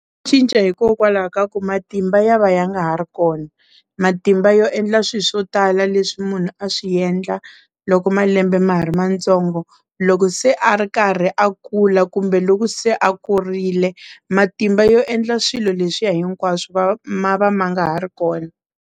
Cinca hikokwalaho ka ku matimba ya va ya nga ha ri kona matimba yo endla swilo swo tala leswi munhu a swi endla loko malembe ma ha ri matsongo loko se a ri karhi a kula kumbe loku se a kurile matimba yo endla swilo leswi ya hinkwaswo ma va ma nga ha ri kona.